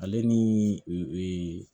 Ale ni